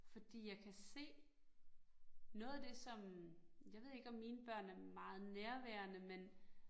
Fordi jeg kan se, noget af det som, jeg ved ikke, om mine børn er meget nærværende men